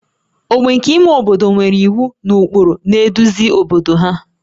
ogbe nke ime obodo nwere iwu na ụkpụrụ na-eduzi obodo ha